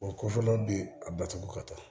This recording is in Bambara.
O kɔfɛ de a batugu ka taa